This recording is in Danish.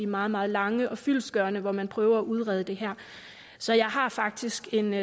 meget meget lange og fyldestgørende når man prøver at udrede det her så jeg har faktisk en